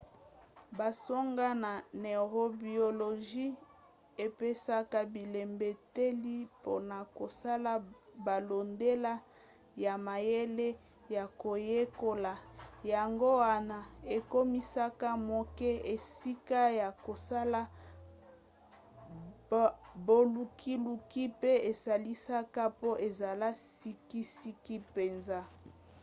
basango ya neurobiologie epesaka bilembeteli mpona kosala bolandela ya mayele ya koyekola. yango wana ekomisaka moke esika ya kosala bolukiluki pe esalisaka po ezala sikisiki mpenza